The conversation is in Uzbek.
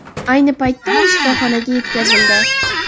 Ayni paytda u shifoxonaga yetkazildi.